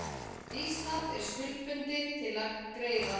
Ísland er skuldbundið til að greiða